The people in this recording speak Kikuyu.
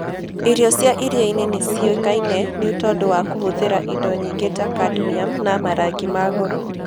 Irio cia iria-inĩ nĩ ciĩkaine nĩ ũndũ wa kũhũthĩra indo nyingĩ ta cadmium na marangi ma goro.